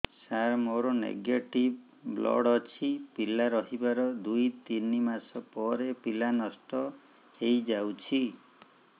ସାର ମୋର negative blood ଅଛି ପିଲା ରହିବାର ଦୁଇ ତିନି ମାସ ପରେ ପିଲା ନଷ୍ଟ ହେଇ ଯାଉଛି